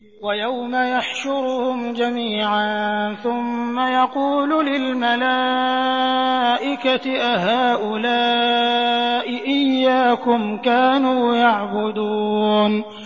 وَيَوْمَ يَحْشُرُهُمْ جَمِيعًا ثُمَّ يَقُولُ لِلْمَلَائِكَةِ أَهَٰؤُلَاءِ إِيَّاكُمْ كَانُوا يَعْبُدُونَ